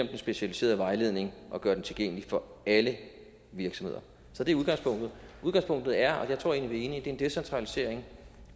den specialiserede vejledning og gør den tilgængelig for alle virksomheder så det er udgangspunktet udgangspunktet er og jeg tror egentlig en decentralisering